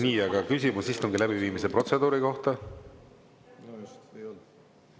Nii, aga küsimus istungi läbiviimise protseduuri kohta?